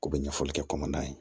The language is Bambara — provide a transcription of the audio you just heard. K'u bɛ ɲɛfɔli kɛ kɔnɔna ye